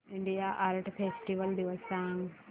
India art festival दिवस सांग